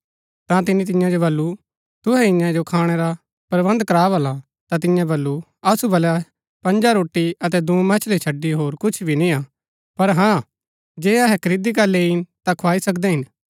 ता तिनी तियां जो वल्‍लु तुहै ही इन्या जो खाणै रा प्रबन्ध करा भला ता तियें वल्‍लु असु वलै पँजा रोटी अतै दूँ मछली छड़ी होर कुछ भी नियां पर हाँ जे अहै खरीदी करी लैईन ता खुआई सकदै हिन